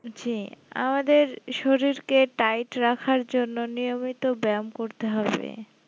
জি আমাদের শরীর কে tight রাখার জন নিয়মিত ব্যায়াম করতে হবে